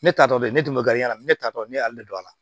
Ne ta tɔ bɛ ne tun bɛ gari la ne ta tɔ ne y'ale de don a la